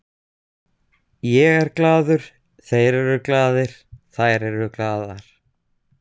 Ég er glaður, þeir eru glaðir, þær eru glaðar.